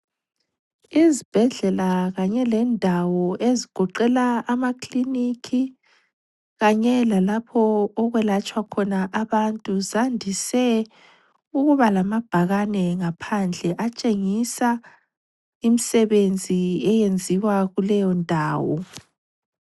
Izibhedlela kanye lendawo ezigoqela amakilinikhi kanye lalapho okwelatshwa khona abantu, zandise ukuba lamabhakane ngaphandle atshengisa imisebenzi eyenziwa kuleyo ndawo.